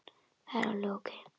Það er alveg ókei.